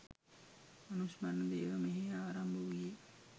අනුස්මරණ දේව මෙහෙය ආරම්භ වූයේ